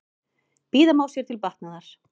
Bíða má sér til batnaðar.